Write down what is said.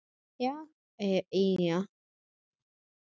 Já, segir Pína.